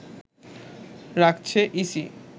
রাখছে ইসি